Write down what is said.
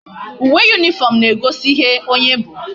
Uwe uniform na ego ihe onye bu